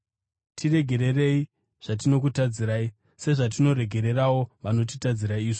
Tiregererei zvatinokutadzirai, sezvatinoregererawo vanotitadzira isu.